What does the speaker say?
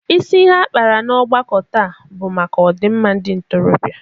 Isi ihe a kpara n'ọgbakọ taa bụ maka ọdịmma ndị ntorobịa.